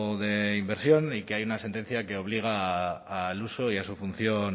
de inversión y que hay una sentencia que obliga al uso y a su función